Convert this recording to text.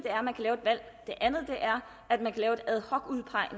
er at man